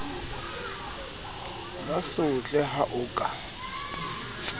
ba sotle ha o ka